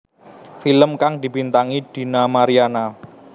Film kang dibintangi Dina Mariana